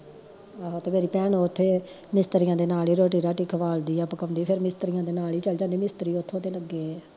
ਆਹੋ ਤੇ ਮੇਰੀ ਓਥੇ ਮਿਸਤਰੀਆਂ ਤੇ ਨਾਲ ਈ ਰੋਟੀ ਰਾਟੀ ਖਵਾਨਦੀ ਆ ਪਕਾਉਂਦੀ ਆ ਫੇਰ ਮਿਸਤਰੀਆਂ ਦੇ ਨਾਲ ਈ ਚਲ ਜਾਂਦੀ ਆ ਮਿਸਤਰੀ ਓਥੋਂ ਦੇ ਲੱਗੇ ਏ ਆ